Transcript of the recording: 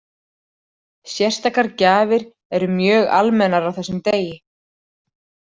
Sérstakar gjafir eru mjög almennar á þessum degi.